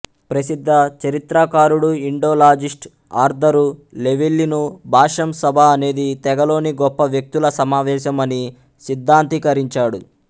ప్రసిద్ధ చరిత్రకారుడు Indologist Arthur Llewellyn Basham sabha అనేది తెగలోని గొప్ప వ్యక్తుల సమావేశం అని సిద్ధాంతీకరించాడు